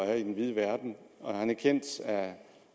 er i den vide verden og han er kendt